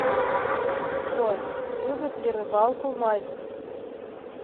джой любит ли рыбалку мальцев